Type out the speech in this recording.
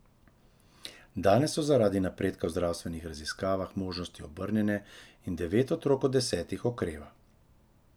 Danes so zaradi napredka v zdravstvenih raziskavah možnosti obrnjene in devet otrok od desetih okreva.